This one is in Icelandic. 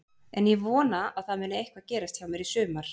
En ég vona að það muni eitthvað gerast hjá mér í sumar.